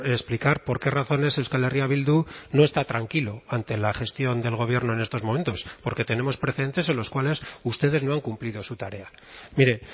explicar por qué razones euskal herria bildu no está tranquilo ante la gestión del gobierno en estos momentos porque tenemos precedentes en los cuales ustedes no han cumplido su tarea mire